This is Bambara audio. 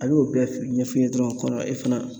A y'o bɛɛ f ɲɛf'i ɲɛ dɔrɔn kɔrɔ e fana